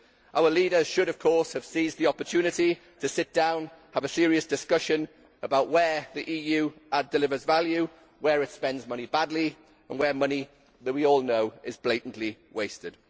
Our leaders should, of course, have seized the opportunity to sit down, have a serious discussion about where the EU delivers value, where it spends money badly and where money we all know is being blatantly wasted.